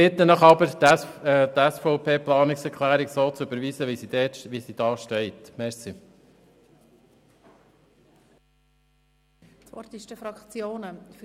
Ich bitte Sie, die Planungserklärung der SVP zu überweisen, so wie sie eingereicht worden ist.